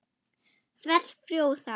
Svell frjósa.